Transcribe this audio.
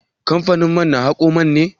Kamfanin man na haƙon man ne?